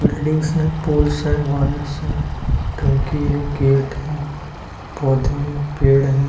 Buildings है poles है wires है टाँकी है गेट है पौधे है पेड़ हैं।